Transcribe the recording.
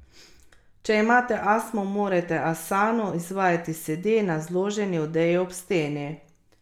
Če imate astmo, morate asano izvajati sede na zloženi odeji ob steni.